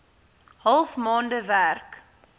half maande werk